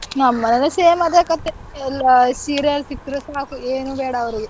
ನಮ್ ಮನೇಲೂ same ಅದೇ ಕಥೆ ಎಲ್ಲ serial ಸಿಕ್ರೆ ಸಾಕು ಏನೂ ಬೇಡ ಅವ್ರಿಗೆ.